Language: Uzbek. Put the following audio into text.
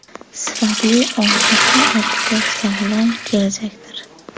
Sifatli ozuqa ortida – sog‘lom kelajakdir.